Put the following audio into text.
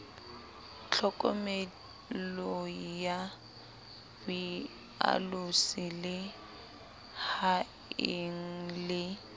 tlhokomeloi ya boalosi lehaeng la